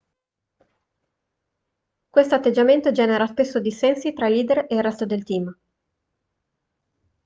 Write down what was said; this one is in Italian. questo atteggiamento genera spesso dissensi tra i leader e il resto del team